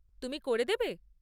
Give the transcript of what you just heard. তুমি করে দেবে?